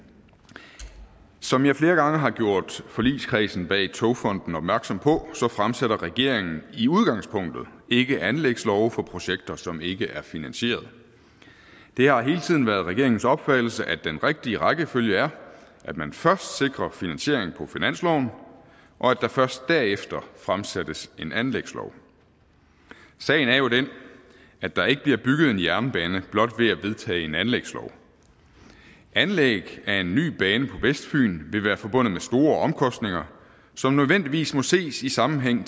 som jeg flere gange har gjort forligskredsen bag togfonden dk opmærksom på fremsætter regeringen i udgangspunktet ikke forslag til anlægslove for projekter som ikke er finansieret det har hele tiden været regeringens opfattelse at den rigtige rækkefølge er at man først sikrer finansiering på finansloven og at der først derefter fremsættes en anlægslov sagen er jo den at der ikke bliver bygget en jernbane blot ved at vedtage en anlægslov et anlæg af en ny bane på vestfyn vil være forbundet med store omkostninger som nødvendigvis må ses i sammenhæng